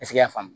y'a faamu